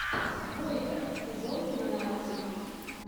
двойка сезон тринадцать